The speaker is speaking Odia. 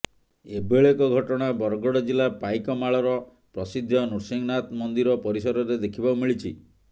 ଏଭଳି ଏକ ଘଟଣା ବରଗଡ଼ ଜିଲ୍ଲା ପାଇକମାଳର ପ୍ରସିଦ୍ଧ ନୃଂସିହନାଥ ମନ୍ଦିର ପରିସରରେ ଦେଖିବା ପାଇଁ ମିଳିଛି